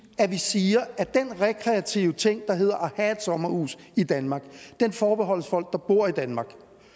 at vi siger at den rekreative ting der hedder at have et sommerhus i danmark forbeholdes folk der bor i danmark